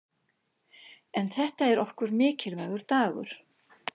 En þetta er okkur mikilvægur dagur.